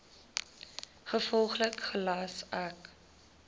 gevolglik gelas ek